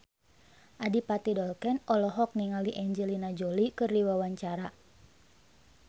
Adipati Dolken olohok ningali Angelina Jolie keur diwawancara